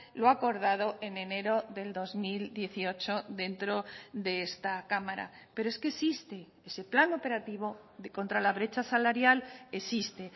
lo acordado en enero del dos mil dieciocho dentro de esta cámara pero es que existe ese plan operativo contra la brecha salarial existe